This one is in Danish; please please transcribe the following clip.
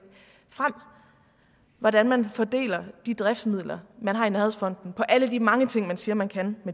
frem hvordan man fordeler de driftsmidler man har i nærhedsfonden på alle de mange ting man siger man kan